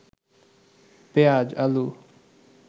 পেঁয়াজ, আলু